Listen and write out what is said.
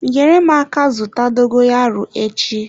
Nyere m aka zụta dogoyaro echi.